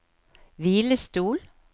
hvilestol